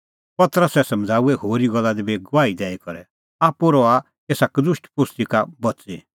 पतरसै समझ़ाऊऐ होरी गल्ला दी बी गवाही दैई करै आप्पू रहा एसा कदुष्ट पोस्ती का बच़ी